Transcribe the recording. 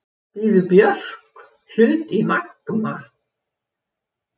Býður Björk hlut í Magma